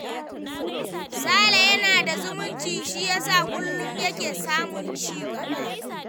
Sada yana da zumunci shi ya sa kullum yake samun cigaba.